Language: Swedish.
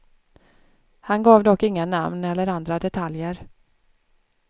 Han gav dock inga namn eller andra detaljer.